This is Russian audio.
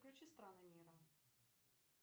включи страны мира